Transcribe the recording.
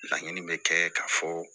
Laɲini bɛ kɛ ka fɔ